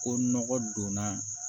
Ko nɔgɔ donna